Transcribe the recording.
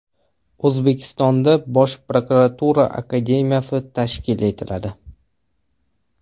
O‘zbekistonda Bosh prokuratura akademiyasi tashkil etiladi.